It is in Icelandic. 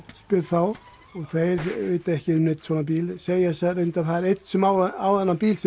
spyr þá og þeir vita ekki um neinn svona bíl en segja reyndar að það sé einn sem á þennan bíl